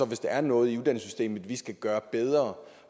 hvis der er noget i uddannelsessystemet vi skal gøre bedre